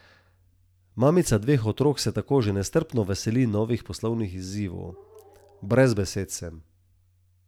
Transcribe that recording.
Mamica dveh otrok se tako že nestrpno veseli novih poslovnih izzivov: 'Brez besed sem.